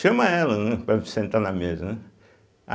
Chama ela, né, para sentar na mesa, né.